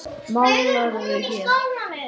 Málarðu hér?